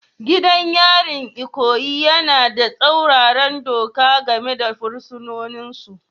Gidan yarin Ikoyi yana da tsauraran doka game da fursunonin su